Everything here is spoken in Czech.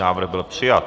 Návrh byl přijat.